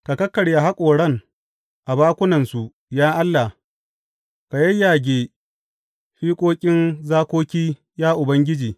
Ka kakkarya haƙoran a bakunansu, ya Allah; ka yayyage fiƙoƙin zakoki, ya Ubangiji!